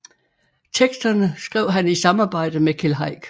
Teksterne skrev han i samarbejde med Keld Heick